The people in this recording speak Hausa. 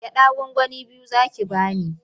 Gyaɗa gwangwani biyu za ki ba ni.